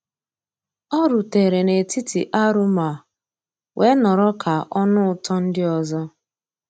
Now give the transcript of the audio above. ọ́ rùtérè n'étítì àrụ́móóá weé nọ̀rọ́ ká ọ́ nụ́ ụtọ́ ndị́ ọ́zọ́.